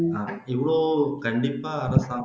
இவ்ளோ கண்டிப்பா அரசாங்கம்